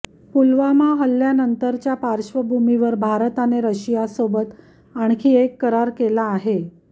पुलवामा हल्यानंतरच्या पार्श्वभूमीवर भारताने रशियासोबत आणखी एक करार केला आहे